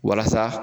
Walasa